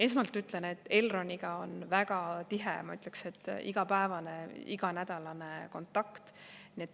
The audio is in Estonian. " Esmalt ütlen, et Elroniga on väga tihe, ma ütleks, et igapäevane, iganädalane kontakt.